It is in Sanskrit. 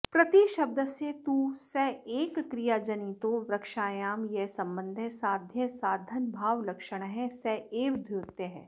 प्रतिशब्दस्य तु सेकक्रियाजनितो वृक्षायां यः सम्बन्धः साध्यसाधनभावलक्षणः स एव द्योत्यः